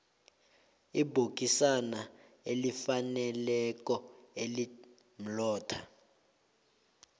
ibhokisana elifaneleko elimlotha